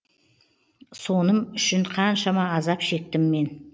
соным үшін қаншама азап шектім мен